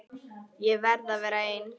Ég verð að vera ein.